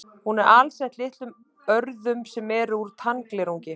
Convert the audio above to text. Hún er alsett litlum örðum sem eru úr tannglerungi.